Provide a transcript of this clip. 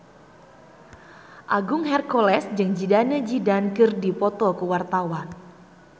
Agung Hercules jeung Zidane Zidane keur dipoto ku wartawan